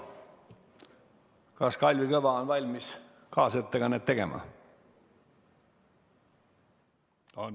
Kas Kalvi Kõva on valmis kaasettekannet tegema?